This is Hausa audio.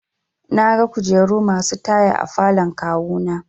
Naga kujeru masu taya a falon kawu na.